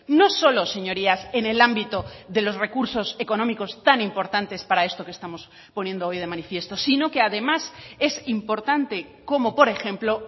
no solo señorías en el ámbito de los recursos económicos tan importantes para esto que estamos poniendo hoy de manifiesto sino que además es importante como por ejemplo